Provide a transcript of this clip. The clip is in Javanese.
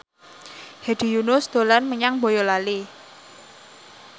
Hedi Yunus dolan menyang Boyolali